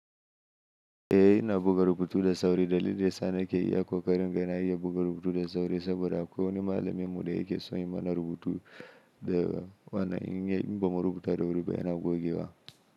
Eh, ina buga rubutu da sauri. Dalilin da yasa nake iya kakarin in ga ya buga rubutu da sauri saboda akwai wani malami mu da yake son yi mana rubutu da wannan in ba mu rubuta da wuri ba yana gogewa.